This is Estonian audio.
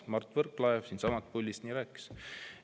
Mart Võrklaev siitsamast puldist nii rääkis.